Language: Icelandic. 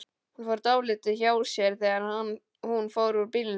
Hann fór dálítið hjá sér þegar hún fór úr bolnum.